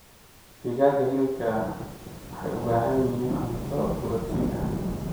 Digaaga hilibka waxay u baahan yihiin cunto borotiin ah.